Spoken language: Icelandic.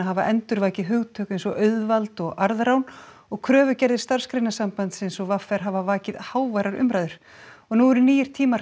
hafa endurvakið hugtök eins og auðvald og arðrán og kröfugerðir Starfsgreinasambandsins og v r hafa vakið háværar umræður og nú eru nýir tímar